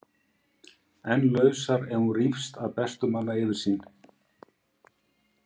En lausar ef hún rýfst að bestu manna yfirsýn.